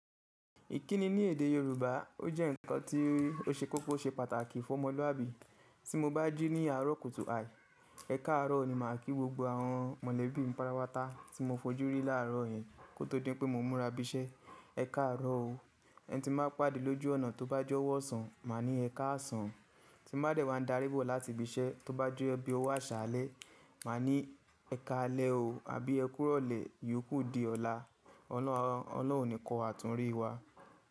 Ìkíni ní èdè Yorùbá, ó jẹ́ ǹkan tí ó ṣe kókó ṣe pàtàkì fún ọmọlúàbí. Tí mo bá jí ní àárọ̀ kùtù àì, ẹ káàárọ̀ ni màá kí gbogbo àwọn mọ̀lẹ́bí mi patapátá tí mo fojú rí láàárọ̀ yẹn kó tó dín pé mo múra bisẹ́. Ẹ káàárọ̀ o. Ẹni tí máa pàdé lójú ọ̀nà tó bá jọ́wọ́ ọ̀sán, màá ní ẹ káàsán. Tí ń bá dẹ̀ wá dárí bọ̀ láti ibi iṣẹ́ tó bá jẹ bí ówo aṣáàlẹ́, màá ní ẹ káalẹ́ o, àbí ẹ kúró le, ìyókù di ọ̀la. Ọ́nà ọ̀nà òní kọ́ àtún rí wá.